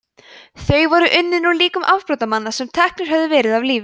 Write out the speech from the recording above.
þau voru unnin úr líkum afbrotamanna sem teknir höfðu verið af lífi